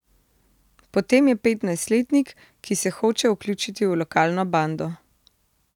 Potem je petnajstletnik, ki se hoče vključiti v lokalno bando.